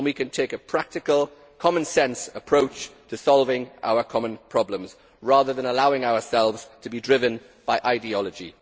We can take a practical, commonsense approach to solving our common problems, rather than allowing ourselves to be driven by ideology.